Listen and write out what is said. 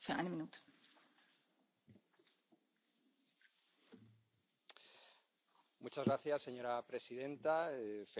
Señora presidenta, felicidades también a la señora Jourová por ser de nuevo comisaria y volver a la Comisión